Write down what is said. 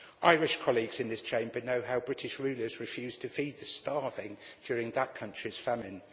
Irish colleagues in this Chamber know how British rulers refused to feed the starving during that country's famine.